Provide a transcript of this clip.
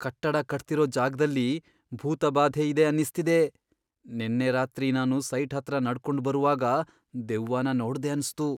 ಕಟ್ಟಡ ಕಟ್ತಿರೋ ಜಾಗ್ದಲ್ಲಿ ಭೂತಬಾಧೆ ಇದೆ ಅನ್ನಿಸ್ತಿದೆ. ನೆನ್ನೆ ರಾತ್ರಿ ನಾನು ಸೈಟ್ ಹತ್ರ ನಡ್ಕೊಂಡ್ ಬರುವಾಗ ದೆವ್ವನ ನೋಡ್ದೆ ಅನ್ಸ್ತು.